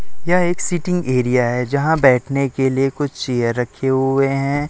यह एक seating area है जहां बैठने के लिए कुछ चेयर रखे हुए हैं।